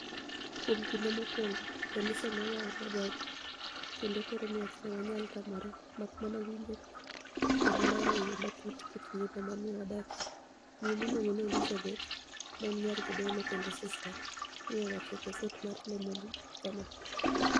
Kuom kinide mokwonigo, kaniise ni e oyawoniwa dhoge, kenido koro ni e ok waniyal tamore, mak mania winijo kenido lero e yo matut kit nigima ma ni e wadakie,''Miyo miluonigo nii Elizabeth, ma eni niyar jadolo kenido sista, ni e owacho ni e gaset mar Le Monide kama.